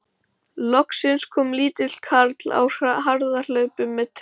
Loksins kom lítill karl á harðahlaupum með trillu.